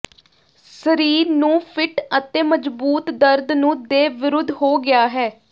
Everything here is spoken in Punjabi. ਸਰੀਰ ਨੂੰ ਫਿੱਟ ਅਤੇ ਮਜ਼ਬੂਤ ਦਰਦ ਨੂੰ ਦੇ ਵਿਰੁੱਧ ਹੋ ਗਿਆ ਹੈ